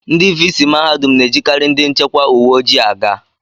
Ndị vii sii mahadum na-ejikarị ndị nchekwa uwe ojii aga